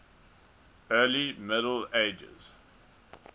early middle ages